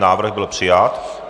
Návrh byl přijat.